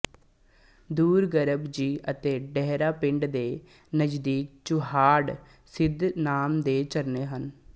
ਦੂਰ ਗਰਭ ਜੀ ਅਤੇ ਡੇਹਰਾ ਪਿੰਡ ਦੇ ਨਜ਼ਦੀਕ ਚੁਹਾਡ ਸਿੱਧ ਨਾਮ ਦੇ ਙਰਨੇ ਹਨ